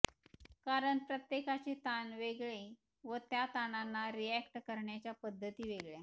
कारण प्रत्येकाचे ताण वेगळे व त्या ताणांना रिअॅक्ट करायच्या पद्धती वेगळ्या